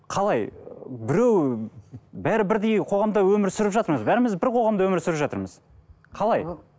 қалай біреу бәрі бірдей қоғамда өмір сүріп жатырмыз бәріміз бір қоғамда өмір сүріп жатырмыз қалай